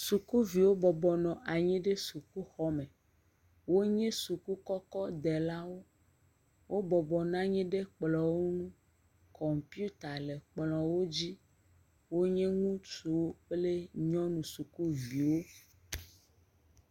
Sukuviwo bɔbɔ nɔ anyi ɖe sukuxɔme. Wonye sukukɔkɔdelawo. Wo bɔbɔna nyi ɖe kplɔ̃wo ŋu. Kɔmpiuta le kplɔ̃wo dzi. Wonye ŋutsuwo kple nyɔnu sukuviwo.